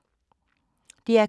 DR K